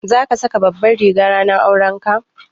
Za ka saka Babbar riga ranar aurenka?